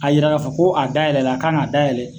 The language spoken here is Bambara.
K'a yira k'a fɔ ko a dayɛlɛ la, kan'a dayɛlɛ